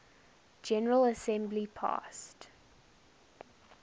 general assembly passed